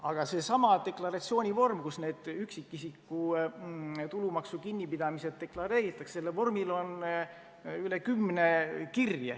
Aga sellel deklaratsioonivormil, kus need üksikisiku tulumaksu kinnipidamised deklareeritakse, on üle kümne kirje.